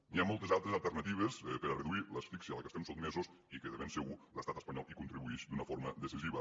hi ha moltes altres alternatives per a reduir l’asfíxia a la qual estem sotmesos i que de ben segur l’estat espanyol hi contribueix d’una forma decisiva